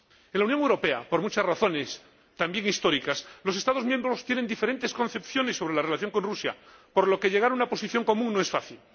En la Unión Europea, por muchas razones, también históricas, los Estados miembros tienen diferentes concepciones sobre la relación con Rusia, por lo que llegar a una posición común no es fácil.